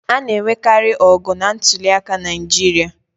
A na-enwekarị ọgụ na ntuliaka Naịjirịa.